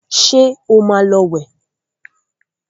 ṣe ọ má ló wẹ